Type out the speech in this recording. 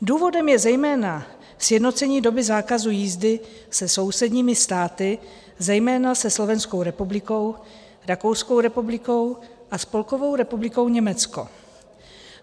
Důvodem je zejména sjednocení doby zákazu jízdy se sousedními státy, zejména se Slovenskou republikou, Rakouskou republikou a Spolkovou republikou Německo.